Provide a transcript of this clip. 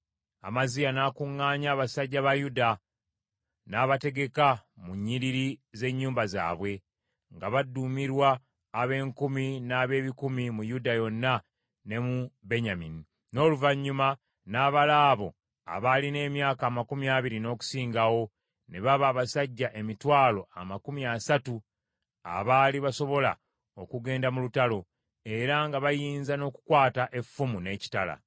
Amaziya n’akuŋŋaanya abasajja ba Yuda, n’abategeka mu nnyiriri z’ennyumba zaabwe, nga baduumirwa ab’enkumi n’ab’ebikumi mu Yuda yonna ne mu Benyamini. N’oluvannyuma n’abala abo abaalina emyaka amakumi abiri n’okusingawo, ne baba abasajja emitwalo amakumi asatu, abaali basobola okugenda mu lutalo, era nga bayinza n’okukwata effumu n’ekitala.